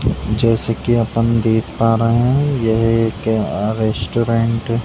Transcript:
जैसे की अपन देख पा रहे है यह एक अ रेस्टोरेंट --